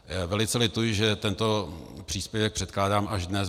Velice lituji, že tento příspěvek předkládám až dnes.